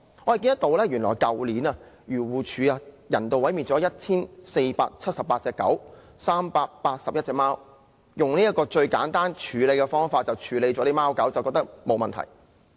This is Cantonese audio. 我們看到原來漁護署去年人道毀滅了 1,478 隻狗和381隻貓，漁護署覺得用這種最簡單的方法處理貓狗沒有問題。